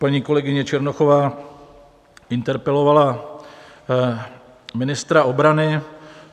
Paní kolegyně Černochová interpelovala ministra obrany.